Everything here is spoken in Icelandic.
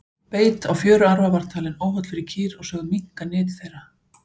beit á fjöruarfa var talinn óholl fyrir kýr og sögð minnka nyt þeirra